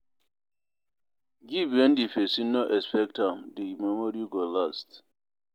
Give when di persin no expect am di memory go last